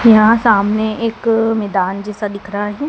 यहाँ सामने एक मैदान जैसा दिख रहा है।